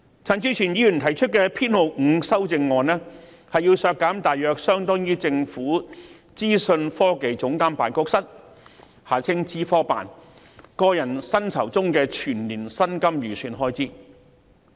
陳志全議員提出第5號修正案，要求削減大約相當於政府資訊科技總監辦公室個人薪酬中的全年薪金預算開支。